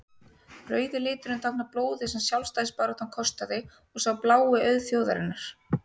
rauði liturinn táknar blóðið sem sjálfstæðisbaráttan kostaði og sá blái auð þjóðarinnar